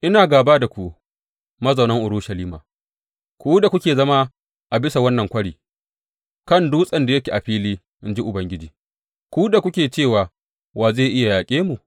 Ina gāba da ku, mazaunan Urushalima, ku da kuke zama a bisa wannan kwari kan dutsen da yake a fili, in ji Ubangiji ku da kuke cewa, Wa zai iya yaƙe mu?